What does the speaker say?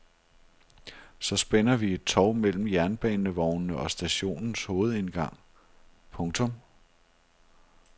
Så spænder vi et tov mellem jernbanevognene og stationens hovedindgang. punktum